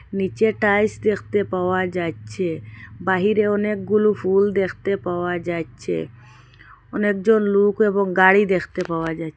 নীচে টাইলস দেখতে পাওয়া যাচ্ছে বাহিরে অনেকগুলো ফুল দেখতে পাওয়া যাচ্ছে অনেকজন লোক এবং গাড়ি দেখতে পাওয়া যা--